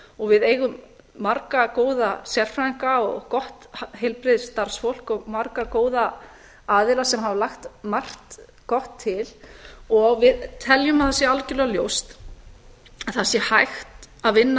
og við eigum marga góða sérfræðinga og gott heilbrigðisstarfsfólk og marga góða aðila sem hafa lagt margt gott til og við teljum að það sé algjörlega ljóst að það sé hægt að vinna